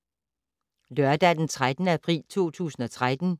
Lørdag d. 13. april 2013